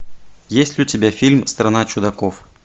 есть ли у тебя фильм страна чудаков